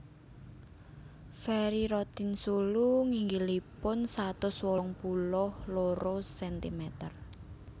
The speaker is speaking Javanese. Ferry Rotinsulu nginggilipun satus wolung puluh loro cm